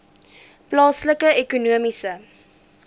plaaslike ekonomiese